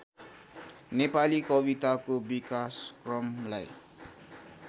नेपाली कविताको विकासक्रमलाई